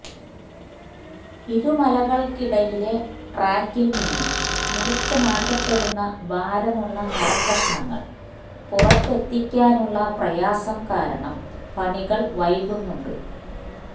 ഇരുമലകള്ക്കിടയിലെ ട്രാക്കില് നിന്ന് മുറിച്ചുമാറ്റപെടുന്ന ഭാരമുള്ള മരകഷ്ണങ്ങള് പുറത്തെത്തിക്കാനുള്ള പ്രയാസം കാരണം പണികള് വൈകുന്നുണ്ട്